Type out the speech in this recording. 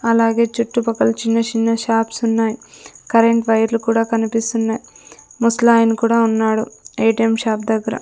అలాగే చుట్టుపక్కల చిన్న చిన్న షాప్స్ ఉన్నాయి కరెంట్ వైర్లు కూడా కనిపిస్తున్నాయి ముసలాయన కూడా ఉన్నాడు ఏ_టీ_ఎం షాప్ దగ్గర--